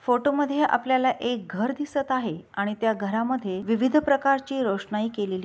photo मध्ये आपल्याला एक घर दिसत आहे आणि त्या घरामध्ये विविध प्रकारचे रोशनाई केलेली--